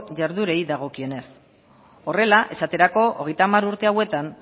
jarduerei dagokionez horrela esaterako hogeita hamar urte hauetan